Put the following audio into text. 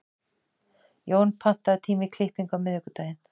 Jón, pantaðu tíma í klippingu á miðvikudaginn.